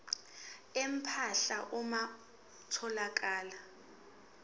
empahla uma kutholakala